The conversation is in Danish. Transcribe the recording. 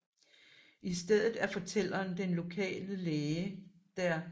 I stedet er fortælleren den lokale læge dr